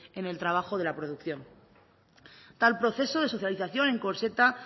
en el trabajo de la producción tal proceso de socialización encorseta